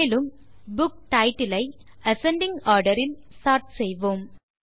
மேலும் book title ஐ ascending order இல் சோர்ட் செய்வோம்